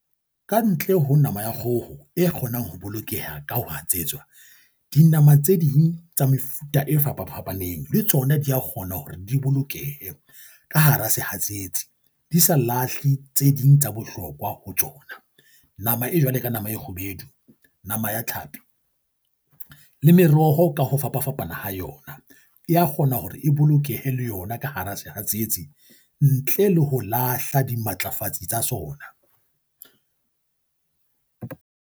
Ka ntle ho nama ya kgoho e kgonang ho bolokeha ka ho etsetswa, dinama tse ding tsa mefuta e fapafapaneng le tsona dia kgona hore di bolokehe ka hara sehatsetsi, di sa lahle tse ding tsa bohlokwa ho tsona. Nama e jwale ka nama e kgubedu, nama ya tlhapi le meroho ka ho fapafapana ha yona e ya kgona hore e bolokehe le yona ka hara sehatsetsi ntle le ho lahla dimatlafatsi tsa sona.